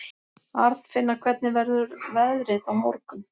Arnfinna, hvernig verður veðrið á morgun?